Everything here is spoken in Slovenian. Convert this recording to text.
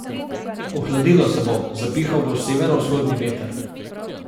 Ohladilo se bo, zapihal bo severovzhodni veter.